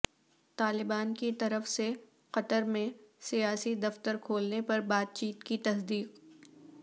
طالبان کی طرف سے قطر میں سیاسی دفتر کھولنے پر بات چیت کی تصدیق